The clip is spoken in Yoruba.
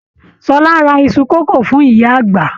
Ṣọlá rà Isu kòkò fún ìyá àgbà.